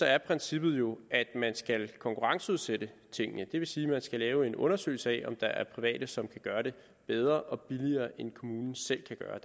er princippet jo at man skal konkurrenceudsætte tingene det vil sige at man skal lave en undersøgelse af om der er private som kan gøre det bedre og billigere end kommunen selv kan gøre